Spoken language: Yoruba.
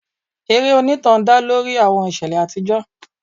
Eré onítàn dá lórí àwọn ìṣẹ̀lẹ̀ àtijọ́.